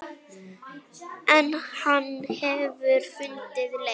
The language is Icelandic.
En hann hefur fundið leið.